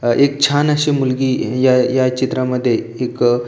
एक छान अशी मुलगी या या चित्रा मध्ये एक--